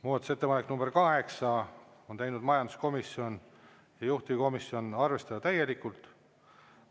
Muudatusettepaneku nr 8 on teinud majanduskomisjon ja juhtivkomisjon: arvestada täielikult.